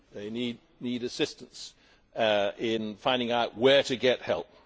They need assistance in finding out where to get help.